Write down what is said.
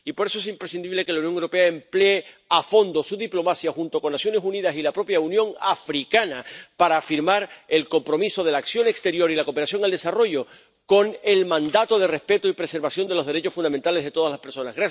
Y, por eso, es imprescindible que la Unión Europea emplee a fondo su diplomacia junto con las Naciones Unidas y la propia Unión Africana para firmar el compromiso de la acción exterior y la cooperación al desarrollo con el mandato de respeto y preservación de los derechos fundamentales de todas las personas.